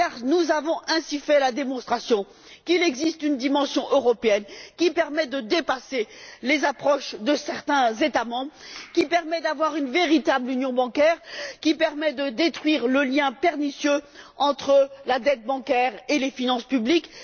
Nous avons ainsi fait la démonstration qu'il existe une dimension européenne qui permet de dépasser les approches de certains États membres, d'avoir une véritable union bancaire, de détruire le lien pernicieux entre la dette bancaire et les finances publiques.